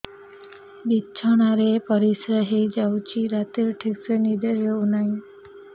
ବିଛଣା ରେ ପରିଶ୍ରା ହେଇ ଯାଉଛି ରାତିରେ ଠିକ ସେ ନିଦ ହେଉନାହିଁ